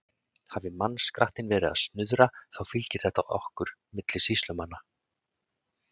Hafi mannskrattinn verið að snuðra, þá fylgir þetta okkur milli sýslumanna.